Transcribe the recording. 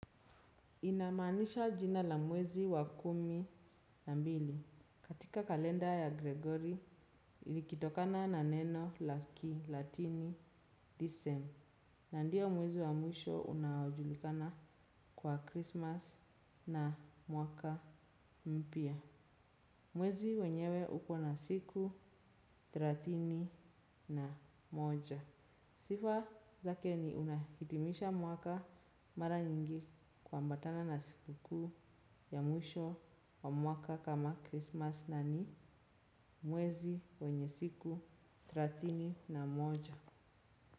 Inamaanisha jina la mwezi wa kumi na mbili katika kalenda ya Gregory likitokana na neno la kilatini decem. Na ndio mwezi wa mwisho unaojulikana kwa Christmas na mwaka mpya. Mwezi wenyewe uko na siku thelathini na moja. Sifa zake ni unahitimisha mwaka mara nyingi kuambatana na siku kuu ya mwisho wa mwaka kama Christmas na ni mwezi wenye siku thelathini na moja.